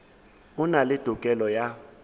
e na le tokelo ya